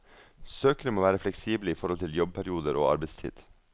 Søkere må være fleksible i forhold til jobbperioder og arbeidstid.